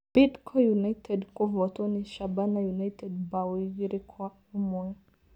Bidco United kuvotwo nĩ Shabana United mbao igiri kwa imwe